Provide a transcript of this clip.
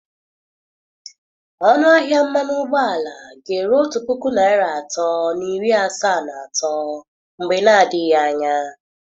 Ọnụ ahịa mmanụ ụgbọala ga-eru otu puku naịra atọ na iri asaa na atọ mgbe na adịghị anya.